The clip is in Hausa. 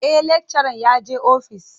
E, lakcharan yaje office.